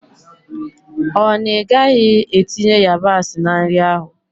Ọ na ị gaghị etinye yabasị na nri ahụ?